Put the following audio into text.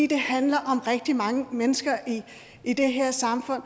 det handler om rigtig mange mennesker i det her samfund og